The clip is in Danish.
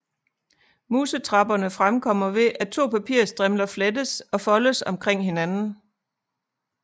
Musetrapperne fremkommer ved at to papirstrimler flettes og foldes omkring hinanden